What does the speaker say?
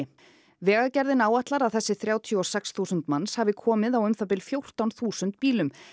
vegagerðin áætlar að þessir þrjátíu og sex þúsund manns hafi komið á um það bil fjórtán þúsund bílum